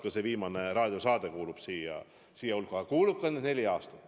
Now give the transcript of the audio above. Ka see viimane raadiosaade kuulub selliste hulka.